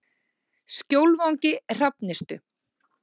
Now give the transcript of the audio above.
Skjólvangi Hrafnistu